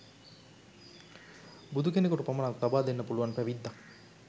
බුදු කෙනෙකුට පමණක් ලබාදෙන්න පුළුවන් පැවිද්දක්.